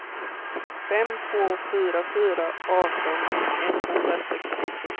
fem två fyra fyra arton etthundrasextiosju